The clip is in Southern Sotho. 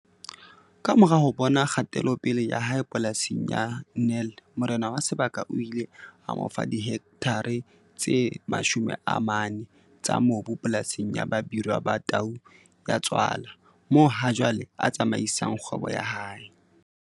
Kamora ho bona kgatelopele ya hae polasing ya Nel morena wa sebaka o ile a mo fa dihektare tse 40 tsa mobu polasing ya Babirwa Ba Tau Ya Tswala moo hajwale a tsamaisang kgwebo ya hae.